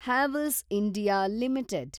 Havells India limited